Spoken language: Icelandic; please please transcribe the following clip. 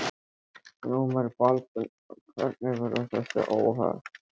Glúmur Baldvinsson: Hvernig verða þessi óhöpp?